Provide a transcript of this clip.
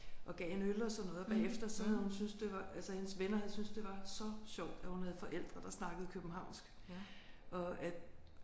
Og gav en øl og sådan noget og bagefter så havde hun syntes det var altså hendes venner havde syntes det var så sjovt at hun havde forældre der snakkede københavnsk og at